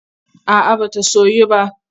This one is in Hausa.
A'a ba ta soyu ba.